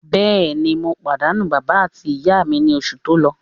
Bẹ́ẹ̀ni, mo pàdánù bàbá àti ìyá mi ní oṣù tó lọ.